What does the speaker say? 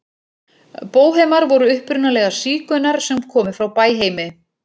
Bóhemar voru upprunalega sígaunar sem komu frá Bæheimi.